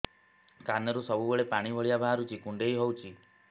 କାନରୁ ସବୁବେଳେ ପାଣି ଭଳିଆ ବାହାରୁଚି କୁଣ୍ଡେଇ ହଉଚି